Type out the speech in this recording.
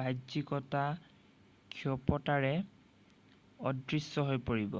বাহ্যিকতা ক্ষিপ্ৰতাৰে অদৃশ্য হৈ পৰিব